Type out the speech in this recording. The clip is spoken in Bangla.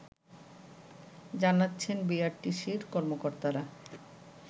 জানাচ্ছেন বিআরটিসির কর্মকর্তারা